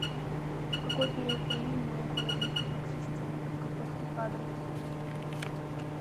в какой период времени наука возникла как система подготовки кадров